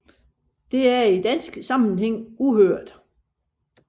Det er i dansk sammenhæng uhørt